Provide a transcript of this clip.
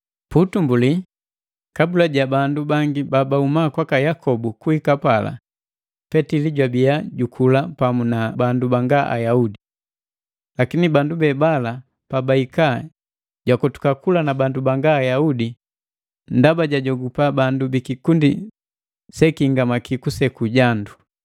Puutumbuli, kabula ja bandu bangi babahuma kwaka Yakobu kuhika pala, Petili jwabiya jukula pamu na bandu banga Ayaudi. Lakini bandu be haba pabahika jakotuka kula na bandu banga Ayaudi ndaba jaajogopa bandu bikikundi sekihingamaki kuseku jandu.